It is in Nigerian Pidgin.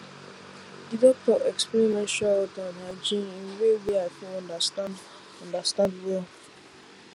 the doctor explain menstrual health and hygiene in way wey i fit understand understand well